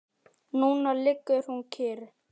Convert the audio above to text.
Núna liggur hún kyrr.